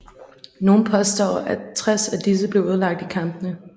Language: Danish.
Nogle påstår at 60 af disse blev ødelagt i kampene